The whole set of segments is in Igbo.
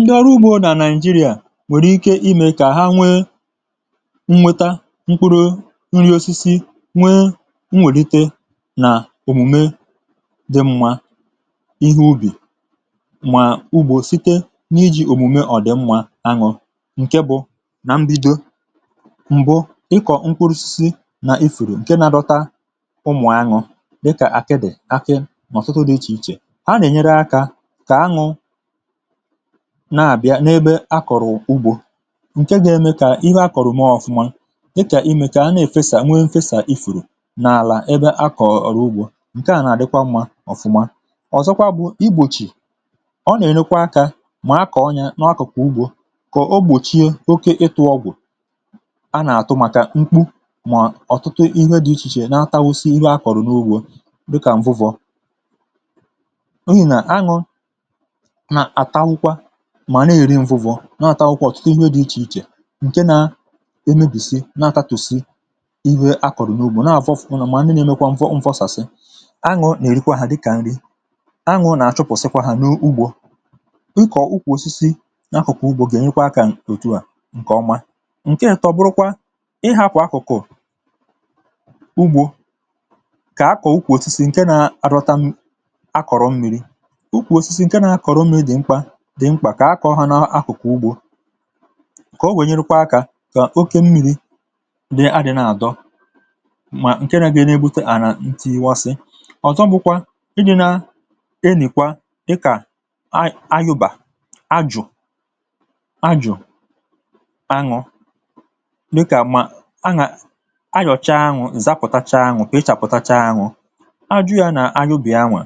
Ndị ọrụ ugbȯ nà nàịjirịà nwèrè ike imė kà ha nwee nnweta mkpụrụ nri̇ osisi, nwee nwèlite nà òmùme dị mmȧ ihe ubì, mà ugbȯ site n’iji̇ òmùme ọ̀ dị mmȧ añụ̀ ǹke bụ̇ nà mbido. m̀bụ ịkọ̀ nkwụrụ osisi nà ifèrè ǹke nȧ dọta ụmụ̀ añụ̀ dịkà àkịdị̀, akị nà ọ̀tụtụ dị̇ ichè ichè, ha na enyere aka ka anụ na-àbịa n’ebe akọ̀rọ̀ ugbȯ ǹke ga-eme kà ihe akọ̀rọ̀ mọọ̇ ọ̀fụma, dịkà imè kà a na-èfesà nwee n’fesà i fùrù n’àlà ebe akọ̀ ọ̀rọ̀ ugbȯ ǹke nà-àdịkwa mmȧ ọ̀fụma. ọ̀zọkwa bụ̀ igbòchì, ọ nà-ènekwa akȧ mà akọ̀ ọnyȧ n’akụ̀kụ̀ ugbȯ kà ogbòchiė oke ịtụ̇ ọgwụ̀ a nà-àtụ màkà mkpu mà ọ̀tụtụ ihe dị̇ ichèchè na-atahosi ihe akọ̀rọ̀ n’ugbȯ dịkà m̀vuvọ mà na èri mvụ wọ na-àtawụkwa ọ̀tụtụ ihe dị̇ ichè ichè ǹke na emebìsi na atatù si ihuȧ akọ̀rọ̀ n’ugbȯ na àvọ fụ̀kwụ̀ nà mà ndị nȧ-eme kwa mvụ mfọsàsị, aṅụ̇ nà-èrikwa ha dịkà nri, aṅụ nà àchụpụ̀sịkwa ha n’ugbȯ. ịkọ̀ ukwù osisi n’akụ̀kụ̀ ugbȯ gà-ènyekwa kà òtù a ǹkè ọma. ǹkè ịtò bụrụkwa, ịhȧkwà akụ̀kụ̀ ugbȯ kà akọ̀ ukwù osisi ǹke na-adọta m akọ̀rọ̀ mmi̇ri dị̀ mkpà kà akà ọhànàakùkwù ugbȯ kà o wènyèrèkwà akȧ kà oke mmi̇ri̇ dị adị̀ na-àdọ mà ǹke na-gi̇rị̇ n’egbute à nà ntìghisɪ́. ɔ̀zọgbȯkwȧ idi nà enìkwa dịkà a ayụbà, ajụ̀, ajụ̀, aṅụ, dịkà mà aṅà ayọ̀cha aṅụ̀, ǹzapụ̀tacha aṅụ̀, kà ị chàpụ̀tacha aṅụ, a jụ̇ yȧ nà ayụbà aṅụ̀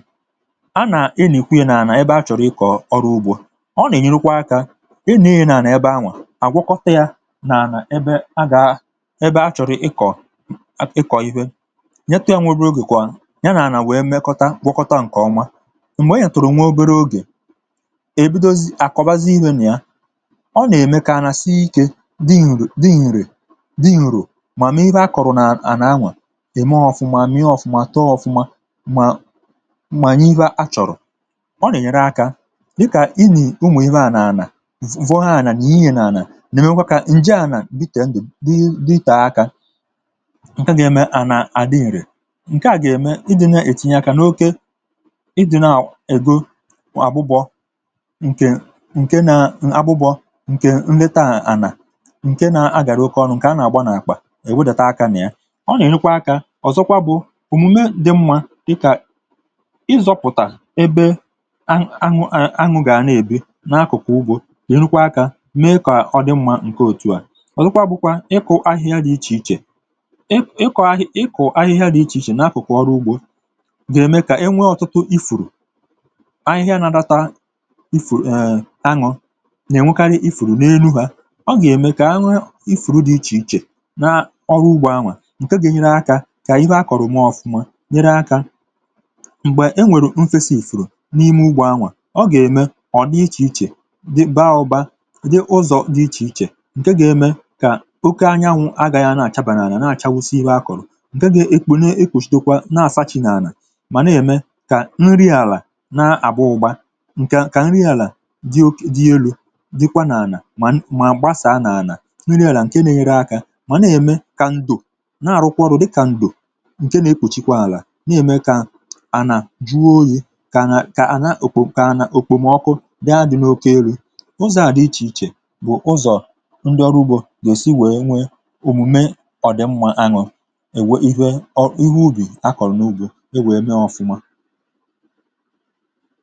a nà enìkwe ya nà ebe a chọ̀rọ̀ ịkọ̀ ịnị̇ nà ànà ebe anwà àgwọkọta yȧ, nà ànà ẹbẹ a gà.. ẹbẹ achọ̀rọ̀ ịkọ̀ ịkọ̀ ihe, nyẹtụ̇ yȧ nwẹ obi̇ ogè kwà yȧ nà ànà wèe mẹkọta gwọkọta ǹkẹ̀ ọma. m̀gbè ị nyẹ̀tụ̀rụ̀ nwẹ obere ogè, ẹbẹdozi àkọbazi ihė nà ya. Ọ nà ẹmẹ kà anà si ikė, dị ǹrò, dị ǹrò, dị ǹrò, mà m̀ẹ̀vẹ a kọ̀rọ̀ nà ànà anwà ẹ̀ mẹ ȧ ọ̀fụma mẹẹ ọfụma tọa ọfụma, mà m̀mànyẹ ịwa a chọ̀rọ̀. Ọ na enyere aka dika ịnị ụmụ ihe ndia na ànà, vọọ ana nịe ya na ana na eme ka ǹje ànà dị itè akȧ, ǹke gà-eme ànà àdị ǹrè. ǹke à gà-eme idina ètinye akȧ n’okė idina ègo àbụbọ̀ ǹke nà abụbọ̇ ǹke nleta ànà ǹke nà agàra oke ọnụ ǹke anà-àgba nà-àkpà ị̀ wudata akȧ nà ya. ọ nà-ènyekwa akȧ ọ̀zọkwa bụ̀ òmume dị mma dịkà ǹ’enukwa akȧ mee kà ọdị mmȧ ǹke òtu à. ọ̀zọkwa bụkwa ị kụ̀ ahịhịa dị̇ ichè ichè, ị kọ̀ ahị ị kụ̀ ahịhịa dị̇ ichè ichè n’akụ̀kụ̀ ọrụ ugbȯ gà-ème kà enwe ọ̀tụtụ ịfụ̀rụ̀ ahịhịa nȧ data ịfụ̀rụ̀ um añụ̇ nà-ènwkarị ịfụ̀rụ̀ n’enu hȧ, ọ gà-ème kà anwụị ịfụ̀rụ̀ dị̇ ichè ichè n’ọrụ ugbȯ anwà ǹke gà-enyere akȧ kà ihe a kọ̀rọ̀ maa ọ̀fụma, nyere akȧ m̀gbè enwèrè nfesa ịfụ̀rụ̀ n’ime ugbȯ, ọ ga eme anwà baaụ̀ba dị ụzọ̀ dị ichè ichè ǹke gà-eme kà oke anyanwụ̇ agȧghị̇ àna-àcha bànaàlà na-àchawụsịsị akụ̀rụ̀, ǹke gà-ekpunee ekùshịdokwa na-àsaʧa n’àlà, mà na-ème kà nri àlà na-àbụ ụgbȧ ǹkè kà nri àlà dị elu̇ dịkwa n’àlà mà mà gbasàa n’àlà nri àlà ǹkè n’enyere akȧ, mà na-ème kà ndò na-àrụkwọrụ dịkà ndò ǹke nà-ekpùchikwa àlà, na-ème kà ànà juo oyi̇ kà àna òkpù kà anà ụzọ̀ à dị ichè ichè bụ̀ ụzọ̀ ndị ọrụ ugbȯ gà-èsi wèe nwee òmùme ọ̀dị̀mmȧ aṅụ̀ wèe ihe ụbì akọ̀rọ̀ n’ugò e wèe mee ọfụma.